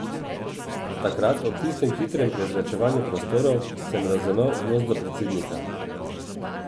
Takrat, ob tistem hitrem prezračevanju prostorov, sem razumel odnos do predsednika.